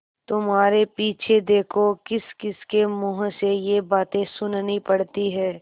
तुम्हारे पीछे देखो किसकिसके मुँह से ये बातें सुननी पड़ती हैं